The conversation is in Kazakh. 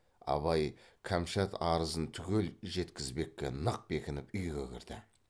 абай кәмшат арызын түгел жеткізбекке нық бекініп үйге кірді